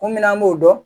Kun min an b'o dɔn